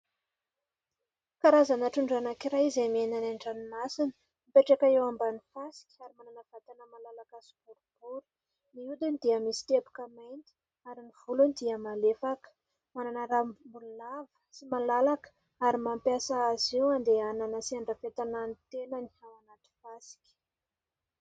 Karazana trondro anankiray izay miaina any an-dranomasina, mipetraka eo ambanin'ny fasika ary manana vatana malalaka sy boribory. Ny hodiny dia misy teboka mainty ary ny volony dia malefaka. Manana rambony lava sy malalaka ary mampiasa azy io handehanana sy handrafetana ny tenany ao anaty fasika.